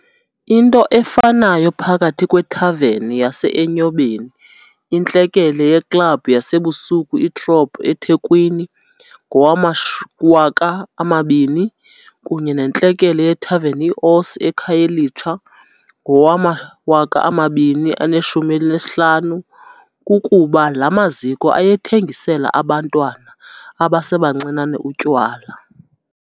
Into efanayo phakathi kwethaveni yase-Enyobeni, intlekele yeklabhu yasebusuku i-Throb eThekwini ngowama-2000, kunye nentlekele yethaveni i-Osi eKhayelitsha ngowama-2015, kukuba la maziko ayethengisela abantwana abasebancinane utywala.